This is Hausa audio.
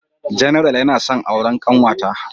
General yana son auren kanwata.